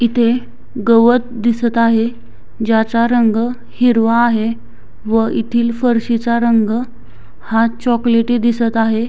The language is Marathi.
इथे गवत दिसत आहे ज्याचा रंग हिरवा आहे व येथील फरशीचा रंग हा चॉकलेटी दिसत आहे.